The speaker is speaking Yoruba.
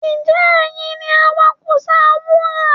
Ǹjẹ́ ẹ̀yin ni awakùsà wúrà